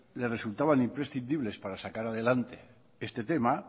le resultaban imprescindibles para sacar adelante este tema